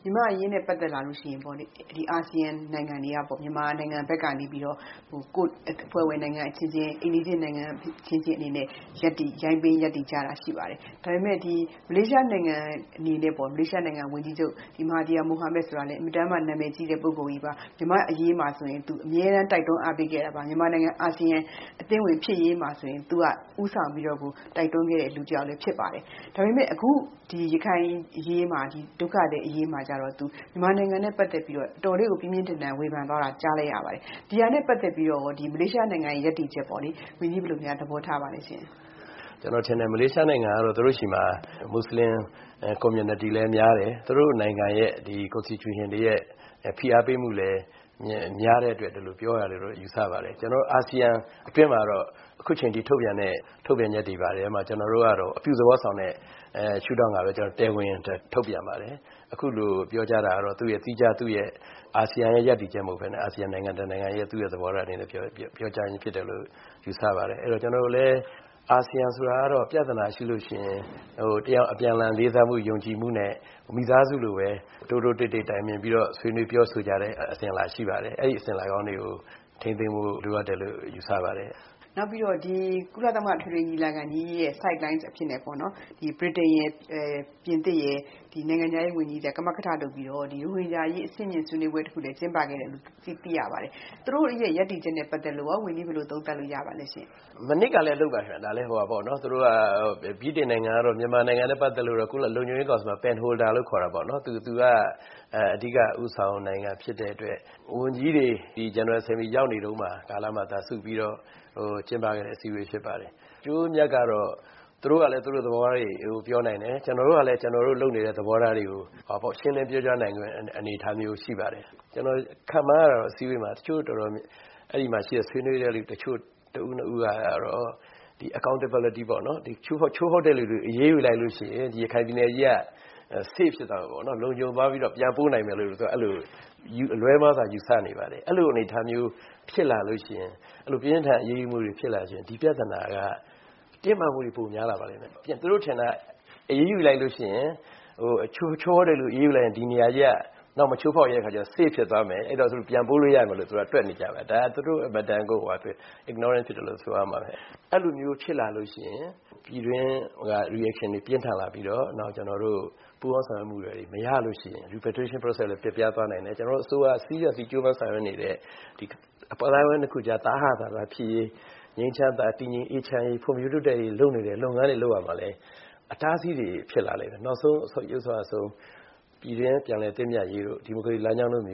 ြန်မာ့အရေးနဲ့ ပတ်သက်လာရင် အာဆီယံနိုင်ငံက မြန်မာဘက်ကနေ ကိုယ်အဖွဲ့အဝင်နိုင်ငံ၊ အိမ်နီးချင်းနိုင်ငံအချင်းချင်းအနေနဲ့ ရပ်တည်တာရှိပါတယ်။ ဒါပေမယ့် မလေးရှားနိုင်ငံ ဝန်ကြီးချုပ် Mahathir Mohamad ဆိုတာကတော့ အင်မတန်မှ နာမည်ကြီးတဲ့ ပု ဂ္ဂိုလ်ကြီးပါ။ မြန်မာ့အရေးမှာဆိုရင် အမြဲတမ်းတိုက်တွန်းအားပေးခဲ့တာပါ။ မြန်မာနိုင်ငံ အာဆီယံ အသင်းဝင်ဖြစ်ရေးမှာဆိုရင် သူက ဦးဆောင်ပြီးတော့ တိုက်တွန်းခဲ့တဲ့ လူလည်းဖြစ်ပါတယ်။ ဒါပေမယ့် အခု ရခိုင်ဒုက္ခသည်အရေးမှာ သူ မြန်မာနိုင်ငံနဲ့ ပတ်သက်ပြီးတော့ ပြင်းပြင်းထန်ထန် ဝေဖန်သွားတာကြားလိုက်ပါတယ်။ ဒါနဲ့ ပတ်သက်ပြီးတော့ မလေးရှားနိုင်ငံ ရပ်တည်ချက်ကို ဝန်ကြီးဘယ်လိုများသဘောထားပါသလဲရှင့်။ ကျနော်ထင်တယ် မလေးရှားနိုင်ငံကတော့ သူတို့ဆီမှာ မွတ်ဆလင် Communityလည်းများတယ်။ သူတို့နိုင်ငံရဲ့ ကွန်စတီကျူရှင်တွေရဲ့ ဖိအားပေးမှုတွေလည်းများတဲ့အတွက် ဒီလိုပြောတာလို့ ယူဆပါတယ်။ ကျနော်တို့ အာဆီယံအတွင်းမှာ အခုအချိန်အထိ ထုတ်ပြန်တဲ့ ထုတ်ပြန်ချက်တွေမှာ ကျနော်တို့ကတော့ အပြုသဘောဆောင်တဲ့ ရှု့ထောင်ကပဲ ထုတ်ပြန်ပါတယ်။ အခုလိုပြောကြားတာကတော့ သီးခြားသူ့အာဆီယံရဲ့ ရပ်တပ်ချက်မဟုတ်ပဲနဲ့ အာဆီယံ နိုင်ငံတနိုင်ငံရဲ့ သဘောထားအနေနဲ့ ပြောကြားခြင်းဖြစ်တယ်လို့ ယူဆပါတယ်။ အဲဒါတော့ ကျနော်တို့လည်း အာဆီယံဆိုတာကတော့ ပြဿနာရှိရင် အပြန်အလှန်လေးစားယုံကြည်မှုနဲ့ မိသားစုလိုပဲ တိုးတိုးတိတ်တိတ်တိုင်ပင်ပြီးတော့ ပြောဆိုဆွေးနွေးကြတဲ့ အစဉ်အလာရှိပါတယ်။ အဲဒီအစဉ်အလာကောင်းတွေကို ထိန်းသိန်းဖို့ ယူဆပါတယ်။ နောက်ပြီးတော့ ကုလသမဂ္ဂ အထွေထွေညီလာခံကြီးရဲ့ ဆိုက်လိုင်းအဖြစ်နဲ့ ဗြိတိန်ရယ်၊ ပြင်သစ်ရယ် ဒီနိုင်ငံခြားရေးဝန်ကြီးတွေက ကမကထလုပ်ပြီးတော့ ရိုဟင်ဂျာအရေး အဆင့်မြင့်ဆွေးနွေးပွဲတခုလည်း ကျင်းပခဲ့တယ်လို့ သိရပါတယ်။ သူတို့ရပ်တည်ချက်နဲ့ ပတ်သက်လို့ ဝန်ကြီး ဘယ်လိုသုံးသပ်လို့ ရပါသလဲ။ မနှစ်ကလည်းလုပ်ပါတယ် ဗြိတိန်နိုင်ငံကတော့ မြန်မာနိုင်ငံနဲ့ ပတ်သက်လို့ လုံခြုံရေးကောင်စီမှာ ပင်ဟိုဒါ လို့ခေါ်တာပေါ့နော် ။ သူက အဓိကဦးဆောင်နိုင်ငံဖြစ်တဲ့အတွက် ဝန်ကြီးတွေ General Assembly ရောက်နေတုန်းမှာ စုပြီးတော့ ကျင်းပခဲ့တဲ့ အစည်းအဝေးဖြစ်ပါတယ်။ အကျိုးအမြတ်ကတော့ သူတို့ကလည်း သူတို့သဘောတွေပြောနိုင်တယ်။ ကျနော်တို့ကလည်း ကျနော်တို့လုပ်နေတဲ့ သဘောထားတွေကို ရှင်းလင်းပြောကြားနိုင်တဲ့ အနေအထားမျိုးတွေ ရှိပါတယ်။ ကျနော်ခန့်မှန်းတာတော့ အစည်းအဝေးမှာ တချို့တော်တော်များများ အဲဒီမှာ ဆွေးနွေးတဲ့လူတွေ တချို့ တဦး ၂ ဦးကတော့ accountability ပေါ့နော် ချိုးဖောက်တဲ့လူတွေကို အရေးယူလိုက်ရင် ရခိုင်ပြည်နယ်အရေးက လုံခြုံသွားပြီးတော့ ပြန်ပို့နိုင်မယ်လို့ အဲလို လွဲမှားစွာယူဆနေပါတယ်။ အဲလိုအနေအထားမျိုး ပြင်းပြင်းထန်ထန်အရေးယူမှုတွေ ဖြစ်လာရင် ဒီပြဿနာက တင်းမာမှုတွေပိုများလာပါလိမ့်မယ်။ သူတို့ထင်တာက ချိုးဖောက်တယ်လို့ အရေးယူလိုက်ရင် ဒီနေရာက နောက်မချိုးဖောက်တော့ဘူး အဲဒီတော့ safe ဖြစ်သွားမယ် ၊ သူတို့ ပြန်ပို့လို့ရမယ်။ အဲလိုတွက်နေကြတယ် ဒါက သူတို့ အင်မတန် ignorant ဖြစ်တယ်လို့ ဆိုရမှာပါ။ အဲလိုမျိုးဖြစ်လာရင် ပြည်တွင်းက Reaction တွေပြင်းထန်လာပြီးတော့ နောက်ကျနေ်ာတို့ ပူးပေါင်းဆောင်ရွက်မှုတွေ မရရင် reparation process လည်းပျက်သွားနိုင်တယ် ။ ကျနေ်ာတို့အစိုးရ ဆောင်ရွက်နေတဲ့ အသိုင်းအဝိုင်း၂ ခုကြား သဟဇာတ ဖြစ်ရေး၊ ငြိမ်းချမ်းစွာ တည်ငြိမ်အေးချမ်းရေး ဖွံ့ဖြိုးတိုးတက်ရေး လုပ်နေတဲ့ လုပ်ငန်းတွေမှာလည်း အတားအဆီးတွေဖြစ်လာမယ်။ အဆိုးဆုံး ပြည်တွင်းပြန်လည်သင့်မြတ်ရေးတို့ ဒီမိုကရေစီလမ်းကြောင်းတို့မ